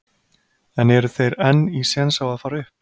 En eru þeir enn í séns á að fara upp?